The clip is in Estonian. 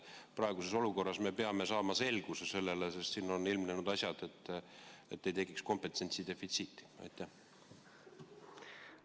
Praeguses olukorras me peame saama selles selguse, et ei tekiks kompetentsi defitsiiti, sest siin on ilmnenud mingid asjad.